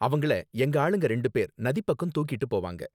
அவங்கள எங்க ஆளுங்க ரெண்டு பேர் நதிப்பக்கம் தூக்கிட்டு போவாங்க